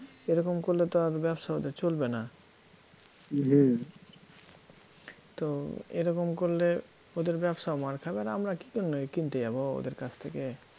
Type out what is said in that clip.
এরকম করলে তো আর ব্যবসা ওদের চলবে না হম তো এরকম করলে ওদের ব্যবসা মার খাবে আর আমরা কীজন্য কিনতে যাব ওদের কাছ থেকে?